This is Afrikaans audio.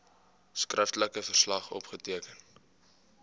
skriftelike verslag opgeteken